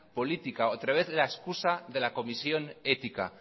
política otra vez la excusa de la comisión ética